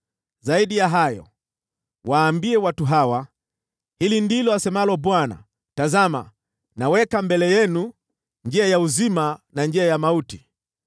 “Zaidi ya hayo, waambie watu hawa, ‘Hili ndilo asemalo Bwana : Tazama, naweka mbele yenu njia ya uzima, na njia ya mauti.